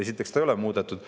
Esiteks, seda ei ole muudetud.